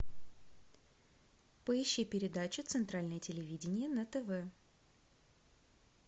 поищи передачу центральное телевидение на тв